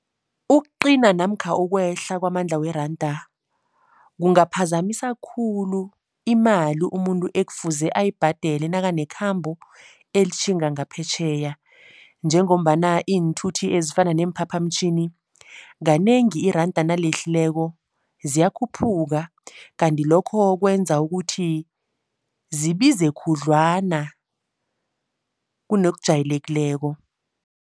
Ukuqina namkha ukwehla kwamandla weranda kungaphazamisa khulu imali umuntu ekufuze ayibhadele nakanekhambo elitjhinga ngaphetjheya. Njengombana iinthuthi ezifana neemphaphamtjhini kanengi iranda nalehlileko ziyakhuphuka kanti lokho kwenza ukuthi zibize khudlwana kunokujayelekileko.